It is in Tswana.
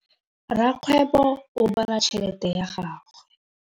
Rakgwêbô o bala tšheletê ya gagwe.